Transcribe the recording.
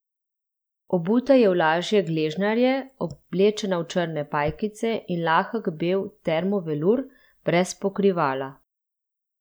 Obuta je v lažje gležnjarje, oblečena v črne pajkice in lahek bel termo velur, brez pokrivala.